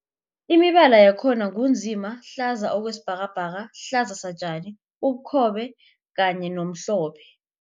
Imibala yakhona ngu nzima, hlaza okwesibhakabhaka, hlaza satjani, ubukhobe kanye nomhlophe.